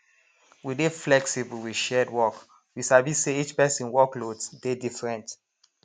we dey flexible with shared work we sabi say each person workloads dey different